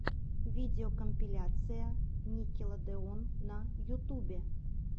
видеокомпиляция никелодеон на ютубе